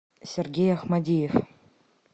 сергей ахмадиев